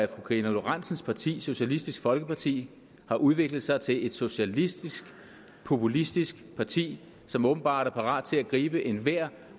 karina lorentzen dehnhardts parti socialistisk folkeparti har udviklet sig til et socialistisk populistisk parti som åbenbart er parat til at gribe enhver